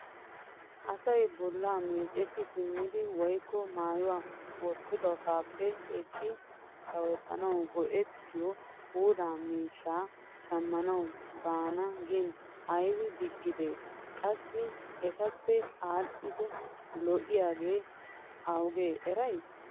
asay bolla meeceti simmidi woykko maayuwa wottidosappe ekkiidi sawettanaw go''ettiyo pula miishsha shamanaw baana gin aybbe digidee? qassi etappe aadhdhidi lo''iyaage awugakko eray?